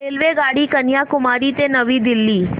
रेल्वेगाडी कन्याकुमारी ते नवी दिल्ली